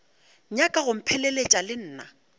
nyaka go mpheleletša le nna